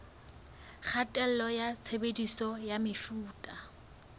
kgatello ya tshebediso ya mefuta